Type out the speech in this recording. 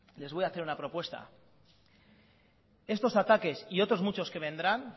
les voy hacer una propuesta estos ataques y otros muchos que vendrán